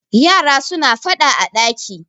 yara suna fada a daki